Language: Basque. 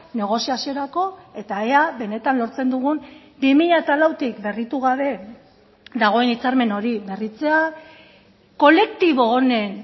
negoziaziorako eta ea benetan lortzen dugun bi mila lautik berritu gabe dagoen hitzarmen hori berritzea kolektibo honen